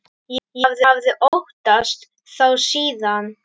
Ég hafði óttast þá síðan.